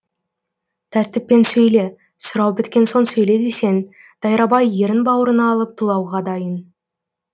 тәртіппен сөйле сұрау біткен соң сөйле десең дайрабай ерін бауырына алып тулауға дайын